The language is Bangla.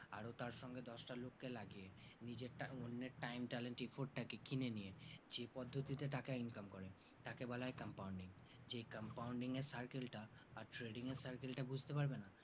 আরো তার সঙ্গে দশটা লোককে লাগিয়ে নিজের টা অন্যের time talent effort টাকে কিনে নিয়ে যে পদ্ধতিতে টাকা income করে তাকে বলা হয় compounding যে compoundin এর circle টা আর trading এর circle টা বুজতে পারবে না